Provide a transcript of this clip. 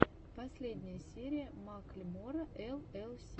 последняя серия маклемора эл эл си